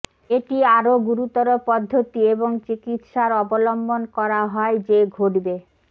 এটি আরো গুরুতর পদ্ধতি এবং চিকিত্সার অবলম্বন করা হয় যে ঘটবে